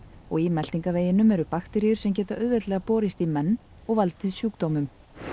í meltingarveginum er bakteríur sem geta auðveldlega borist í menn og valdið sjúkdómum